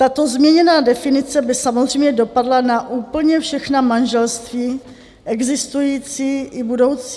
Tato změněná definice by samozřejmě dopadla na úplně všechna manželství, existující i budoucí.